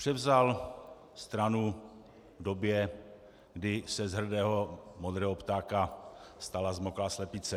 Převzal stranu v době, kdy se z hrdého modrého ptáka stala zmoklá slepice.